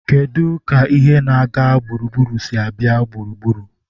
Kedu ka ihe na-aga gburugburu si abịa gburugburu?